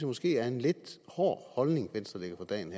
måske er en lidt hård holdning venstre lægger for dagen